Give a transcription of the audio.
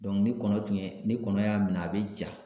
ni kɔnɔ tun ye ni kɔnɔ y'a minɛ a bɛ ja